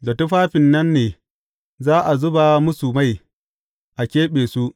Da tufafin nan ne za a zuba musu mai, a keɓe su.